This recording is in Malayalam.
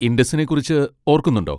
ഇൻഡസിനെ കുറിച്ച് ഓർക്കുന്നുണ്ടോ?